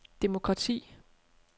demokrati